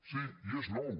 sí i és nou